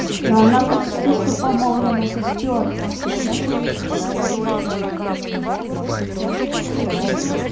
но она почти что помолвлена со стюартом